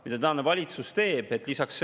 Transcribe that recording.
Mida tänane valitsus teeb?